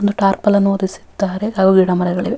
ಒಂದು ಟಾರ್ಪಲನ್ನು ಒರಿಸಿದ್ದಾರೆ ಹಾಗು ಗಿಡಮರಗಳಿವೆ.